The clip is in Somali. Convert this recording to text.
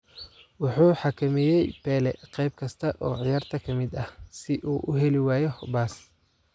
Wuxuu xakameeyay Pele qeyb kasta oo ciyaarta ka mid ah si uu u heli waayo baas.